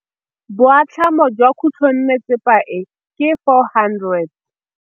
Boatlhamô jwa khutlonnetsepa e, ke 400.